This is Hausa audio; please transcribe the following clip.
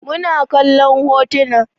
Muna kallon hotuna